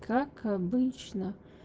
как обычно